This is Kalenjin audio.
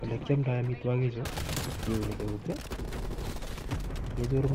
Ole kiomdoo amitwogiik chu kiuni eut I,kechuur